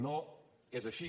no és així